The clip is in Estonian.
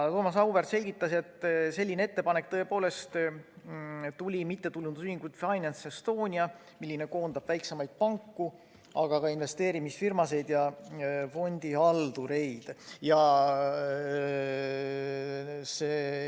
Thomas Auväärt selgitas, et selline ettepanek tõepoolest tuli MTÜ-lt Finance Estonia, mis koondab väiksemaid panku, aga ka investeerimisfirmasid ja fondihaldureid.